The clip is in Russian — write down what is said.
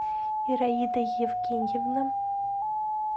ираида евгеньевна